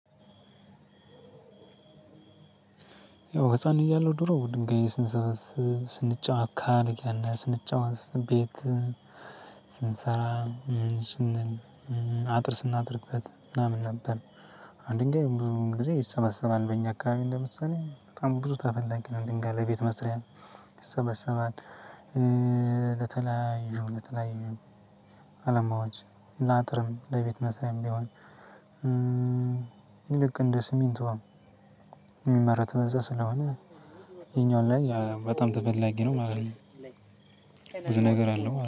ያው ህፃን እያለሁ ድሮ ድንጋይ ስንሰበስ ስንጫወት ካልክ ስንጨዋቅ ቤት ስንሰራ ስንል አጥር ስናደርግበት ምናምን ነበር። አንድ ድንጋይ ብዙ ጊዜ ይሰበሰባል በእኛ አካባቢ እንደምሰለኝ በጣም ብዙ ተፈላጊ ነው። ድንጋይ ለቤት መስሪያ ይሰበሰባል። ለተለያዩ ለተለያዩ አለማዎች ላጥርም ለቤት መስሪያም ቢሆን። ልክ እንደ ስሚንቶ የሚመረት በዛ ስለሆነ ይሄኛው ላይ በጣም ተፈላጊ ነው ማለት ነው። ብዙ ነገር አለው